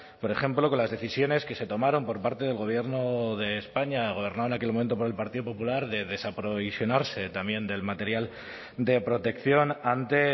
por ejemplo con las decisiones que se tomaron por parte del gobierno de españa gobernado en aquel momento por el partido popular de desaprovisionarse también del material de protección ante